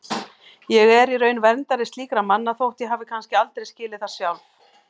Ég er í raun verndari slíkra manna þótt ég hafi kannski aldrei skilið það sjálf.